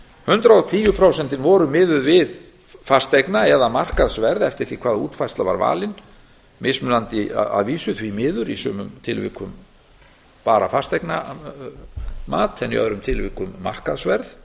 hundrað og tíu prósent voru miðuð við fasteigna eða markaðsverð eftir því hvaða útfærsla var valin mismunandi að vísu því miður í sumum tilvikum bara fasteignamat en í öðrum tilvikum markaðsverð